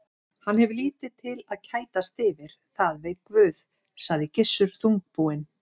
Hann hefur lítið til að kætast yfir, það veit Guð, sagði Gissur þungbúinn.